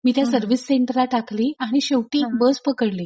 मी त्या सर्विस सेंटरला टाकली आणि शेवटी बस पकडली. मग